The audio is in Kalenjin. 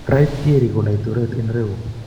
Wright " Thierry ko Laitoriat en irou.